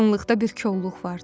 Yaxınlıqda bir kolluq vardı.